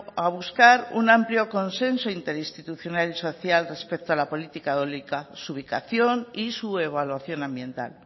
a buscar un amplio consenso interinstitucional y social respecto a la política eólica su ubicación y su evaluación ambiental